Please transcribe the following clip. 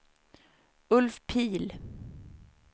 Ulf Pihl